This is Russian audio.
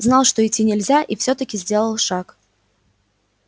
знал что идти нельзя и всё-таки сделал шаг